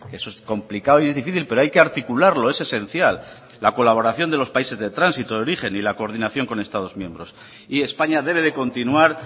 eso es complicado y difícil pero hay que articularlo es esencial la colaboración de los países de tránsito de origen y la coordinación con estados miembros y españa debe de continuar